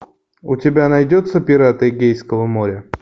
у тебя найдется пираты эгейского моря